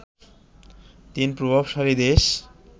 তিন প্রভাবশালী দেশ